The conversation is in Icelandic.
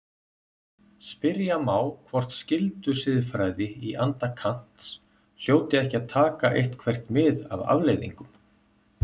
Spyrja má hvort skyldusiðfræði í anda Kants hljóti ekki að taka eitthvert mið af afleiðingum.